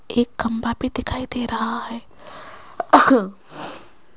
एक खंभा भी दिखाई दे रहा है।